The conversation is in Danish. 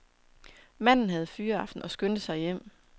Manden havde fyraften og skyndte sig hjem.